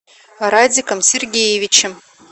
радиком сергеевичем